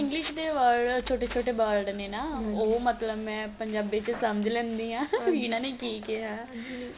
English ਦੇ word ਛੋਟੇ ਛੋਟੇ word ਨੇ ਨਾ ਉਹ ਮਤਲਬ ਮੈਂ ਪੰਜਾਬੀ ਚ ਸਮਝ ਲੈਂਦੀ ਆ ਵੀ ਇਹਨਾ ਨੇ ਕੀ ਕਿਹਾ